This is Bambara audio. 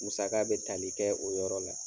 Musaka bɛ tali kɛ o yɔrɔ la.